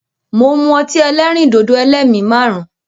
Mo ń mú ọtí ẹlẹ́rìndòdò "ẹlẹ́mi márùn-ún ".